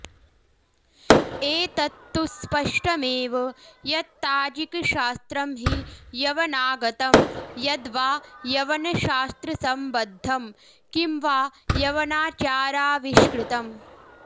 एतत्तु स्पष्टमेव यत्ताजिकशास्त्रं हि यवनागतं यद्वा यवनशास्त्रसम्बद्धं कि वा यवनाचाराविष्कृतम्